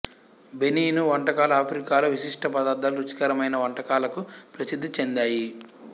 Benin వంటకాలు ఆఫ్రికాలో విశిష్ట పదార్థాలు రుచికరమైన వంటకాలకు ప్రసిద్ధి చెందాయి